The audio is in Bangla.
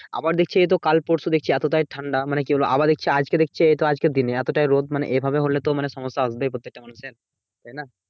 আবার দেখছি এইতো কাল পরশু দেখছি এতটাই ঠান্ডা, মানে কি বলবো? আবার দেখছি আজকে দেখছি এইতো আজকের দিনে এতটাই রোদ। মানে এভাবে হলে তো মানে সমস্যা আসবেই প্রত্যেকটা মানুষের, তাইনা?